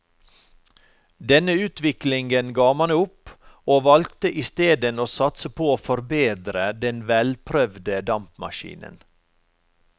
Denne utviklingen ga man opp og valgte isteden å satse på å forbedre den velprøvde dampmaskinen.